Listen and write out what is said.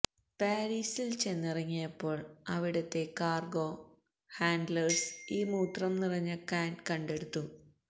പാരീസിൽ ചെന്നിറങ്ങിയപ്പോൾ അവിടത്തെ കാർഗോ ഹാൻഡ്ലേഴ്സ് ഈ മൂത്രം നിറഞ്ഞ കാൻ കണ്ടെടുത്തു